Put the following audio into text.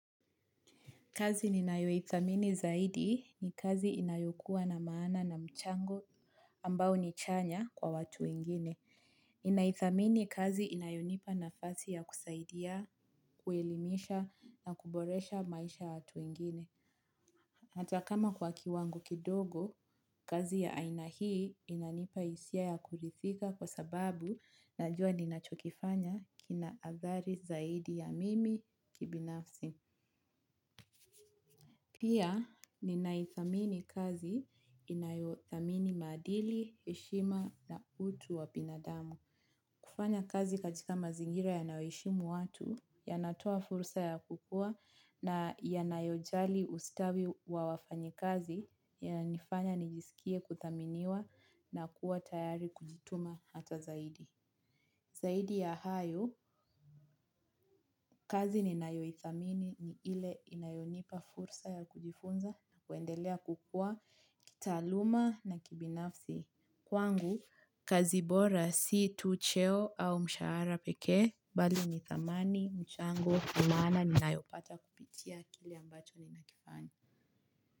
Kazi ninayoithamini zaidi ni kazi inayokuwa na maana na mchango ambao ni chanya kwa watu wengine. Ninaithamini kazi inayonipa nafasi ya kusaidia, kuelimisha na kuboresha maisha ya watu wengine. Hata kama kwa kiwango kidogo kazi ya aina hii inanipa hisia ya kujifunza. Kwa sababu najua ninachokofanya kina hatari zaidi ya mimi binafsi. Pia, ninaithamini kazi inayothamini madili, heshima na utu wa binadamu. Kufanya kazi katika mazingira yanayoheshimu watu, yanatoa fursa ya kukua na yanayojali ustawi wa wafanyi kazi, yanifanya nijisikie kuthaminiwa na kuwa tayari kujituma hata zaidi. Zaidi ya hayo, kazi ninayoithamini ni ile inayonipa fursa ya kujifunza na kuendelea kukua kitaaluma na kibinafsi kwangu kazi bora si tu cheo au mshahara pekee bali ni thamani mchango ni maana ninayopata kupitia kile ambacho ninakifanya.